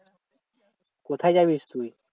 কোথায় যাবি তুই?